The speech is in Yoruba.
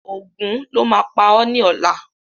Ògún lo má á pá ọ ni ọ̀la